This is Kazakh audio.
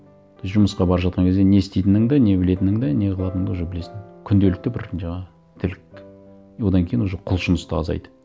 то есть жұмысқа бара жатқан кезде не істейтініңді не білетініңді не қылатыныңды уже білесің күнделікті бір жаңа тірлік и одан кейін уже құлшыныс та азайды